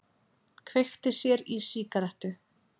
Kveikti sér í sígarettu.